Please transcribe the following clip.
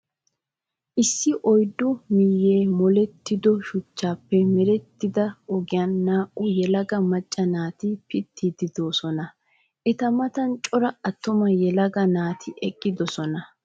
Issi oyiddu miyyee molettido shuchchaape merettida ogiyaa naa'u yelaga macca naati pittiiddi doosona. Eta matan cora attuma yelaga naati eqqidosona.